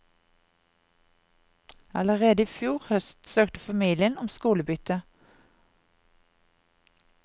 Allerede i fjor høst søkte familien om skolebytte.